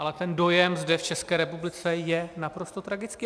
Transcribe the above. Ale ten dojem zde v České republice je naprosto tragický.